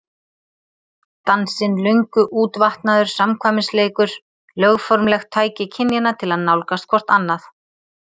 Dansinn löngu útvatnaður samkvæmisleikur, lögformlegt tæki kynjanna til að nálgast hvort annað.